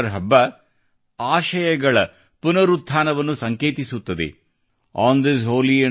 ಈ ಪವಿತ್ರ ದಿನದ ಸಂದರ್ಭದಂದು ನಾನು ಕೇವಲ ಭಾರತದ ಕ್ರಿಶ್ಚಿಯನ್ ಸಮುದಾಯವರಿಗೆ ಮಾತ್ರವಲ್ಲದೇ ವಿಶ್ವದ ಕ್ರಿಶ್ಚಿಯನ್ ಸಮುದಾಯಕ್ಕೆ ಶುಭಾಶಯ ಹೇಳಲು ಬಯಸುತ್ತೇನೆ